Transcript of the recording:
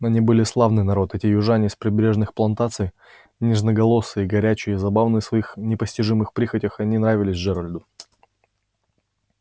но они были славный народ эти южане с прибрежных плантаций нежноголосые горячие забавные в своих непостижимых прихотях они нравились джеральду